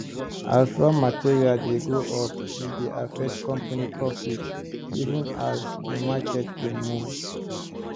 as raw material price dey go upe dey affect company profit even as the market dey move